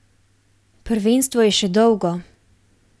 Prvenstvo je še dolgo.